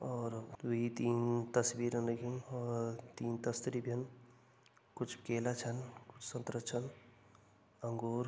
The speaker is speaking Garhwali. और दुइ तीन तस्वीर लगीं और तीन तस्तरी भीं कुछ केला छन कुछ संतरा छन अंगूर --